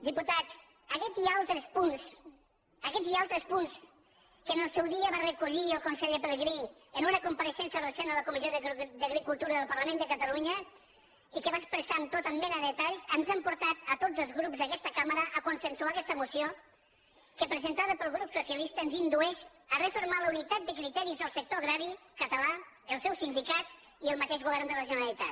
diputats aguest i altres punts aguests i altres punts que en el seu dia va recollir el conseller pelegrí en una compareixença recent a la comissió d’agricultura del parlament de catalunya i que va expressar amb tota mena de detalls ens han portat a tots els grups d’aquesta cambra a consensuar aguesta moció que presentada pel grup socialista ens indueix a refermar la unitat de criteris del sector agrari català dels seus sindicats i del mateix govern de la generalitat